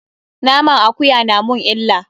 Naman akuya na mun illa.